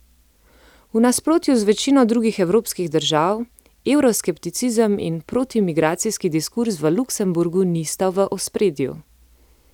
V nasprotju z večino drugih evropskih držav evroskepticizem in protimigracijski diskurz v Luksemburgu nista v ospredju.